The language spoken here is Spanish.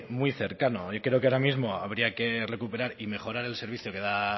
muy cercano y creo que ahora mismo habría que recuperar y mejorar el servicio que da